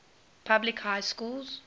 public high schools